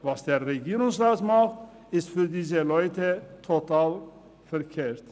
Was der Regierungsrat tut, ist für diese Leute total verkehrt.